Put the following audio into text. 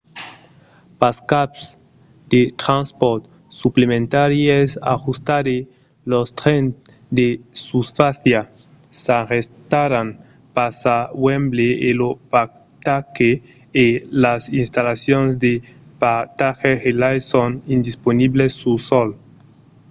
pas cap de transpòrt suplementari es ajustat e los trens de susfàcia s'arrestaràn pas a wembley e lo parcatge e las installacions de parcatges relais son indisponibles sul sòl